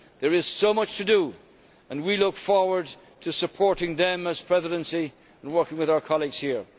There is so much to do and we look forward to supporting them as Presidency and working with our colleagues here.